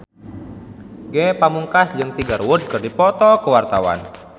Ge Pamungkas jeung Tiger Wood keur dipoto ku wartawan